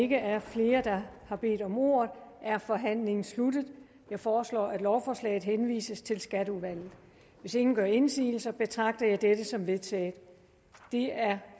ikke er flere der har bedt om ordet er forhandlingen sluttet jeg foreslår at lovforslaget henvises til skatteudvalget hvis ingen gør indsigelse betragter jeg det som vedtaget det er